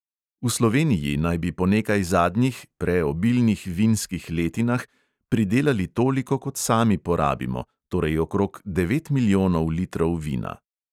V sloveniji naj bi po nekaj zadnjih (pre)obilnih vinskih letinah pridelali toliko, kot sami porabimo, torej okrog devet milijonov litrov vina.